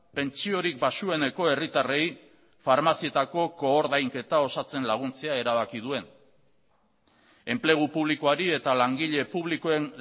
pentsiorik baxueneko herritarrei farmazietako koordainketa osatzen laguntzea erabaki duen enplegu publikoari eta langile publikoen